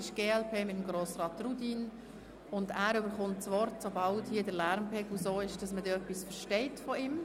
Ich gebe Grossrat Rudin das Wort, sobald der Lärmpegel so ist, dass man etwas verstehen kann.